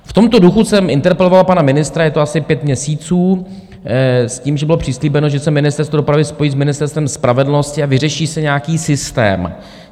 V tomto duchu jsem interpeloval pana ministra, je to asi pět měsíců, s tím, že bylo přislíbeno, že se Ministerstvo dopravy spojí s Ministerstvem spravedlnosti a vyřeší se nějaký systém.